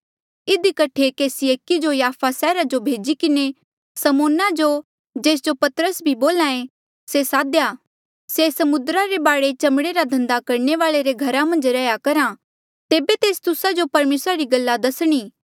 इधी कठे केसी एकी जो याफा सैहरा जो भेजी किन्हें समौन जो जेस जो पतरस भी बोल्हा ऐें से सादेया से समुद्रा रे बाढे चमड़े रा धन्दा करणे वाले रे घरा मन्झ रैहया करहा होर जेबे तेस आऊंणा तेबे तेस तुस्सा जो परमेसरा री गल्ला दसणी